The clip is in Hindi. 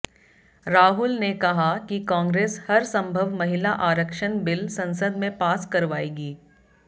राहुल ने कहा कि कांग्रेस हर संभव महिला आरक्षण बिल संसद में पास करवायेगी